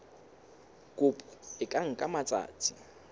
kopo e ka nka matsatsi